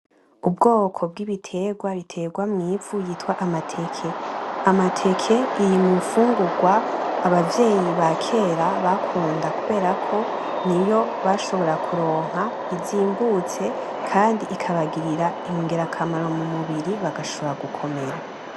Ubwoko bwigiterwa buterwa mw'ivu bwitwa amateke; amateka biri mumfungurwa abakera bakunda kubera ko niyo bashobora kuronka izimbutse kandi ikabagirira igirakamaro mumubiri bagashobora gukomera.